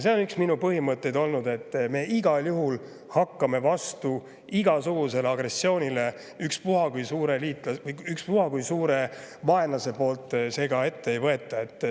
See on üks minu põhimõtteid olnud, et me igal juhul hakkame vastu igasugusele agressioonile, ükspuha kui suur vaenlane seda ette ei võta.